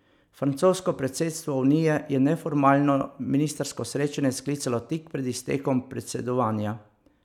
Francosko predsedstvo unije je neformalno ministrsko srečanje sklicalo tik pred iztekom predsedovanja.